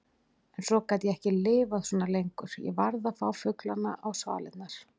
En svo gat ég ekki lifað svona lengur, ég varð að fá fuglana á svalirnar.